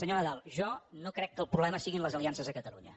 senyor nadal jo no crec que el problema siguin les aliances a catalunya